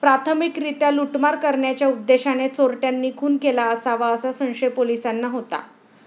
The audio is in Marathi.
प्राथमिकरित्या लुटमार करण्याच्या उद्देशाने चोरट्यांनी खून केला असावा, असा संशय पोलिसांना होता.